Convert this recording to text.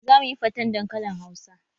Za mu yi faten dankalin Hausa